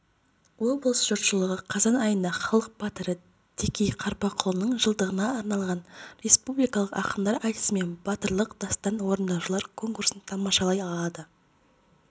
облыс жұртшылығы қазан айында халық батыры текей қарпықұлының жылдығына арналған республикалық ақындар айтысы мен батырлық дастан орындаушылар конкурсын тамашалай алады